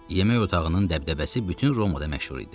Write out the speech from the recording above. Yemək otağının dəbdəbəsi bütün Romada məşhur idi.